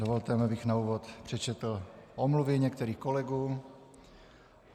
Dovolte mi, abych na úvod přečetl omluvy některých kolegů.